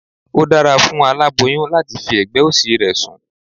Ó dára fún aláboyún láti fi ẹ̀gbẹ́ òsì rẹ̀ sùn